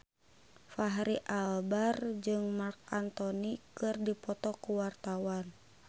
Fachri Albar jeung Marc Anthony keur dipoto ku wartawan